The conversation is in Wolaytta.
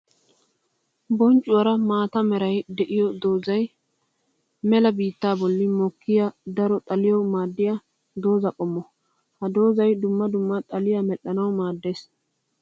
Bonccuwara maata meray de'iyo doozay mela biitta bolli mokkiya daro xaliyawu maadiya dooza qommo. Ha doozay dumma dumma xaliya medhdhanawu maades.